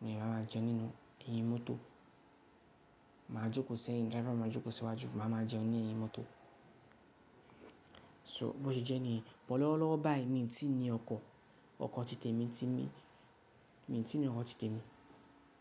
mo lè bá máa jẹun nínú ẹ̀yìn mọ́tò. Máa jókòó sẹ́yìn, driver máa jókòó síwájú, màá máa jẹun ní ẹ̀yìn mọ́tò. So, bó ṣe jẹ́ ni, bọ̀ lọ́wọ́lọ́wọ́ báyìí mi ò tí ní ọkọ̀, ọkọ̀ ti tètè mi ti mí, mi ò tí ní ọkọ̀ ti tètè mi.